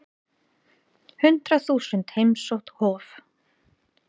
Hundrað þúsund heimsótt Hof